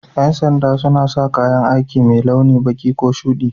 Yan sanda suna sa kayan aikimai launi baki ko shuɗi.